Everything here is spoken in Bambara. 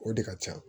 O de ka can